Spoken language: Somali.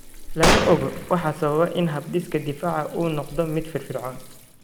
Lama oga waxa sababa in habdhiska difaaca uu noqdo mid firfircoon.